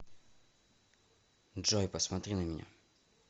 джой посмотри на меня